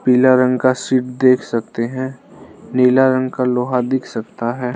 पीला रंग का सीट देख सकते हैं नीला रंग का लोहा दिख सकता है।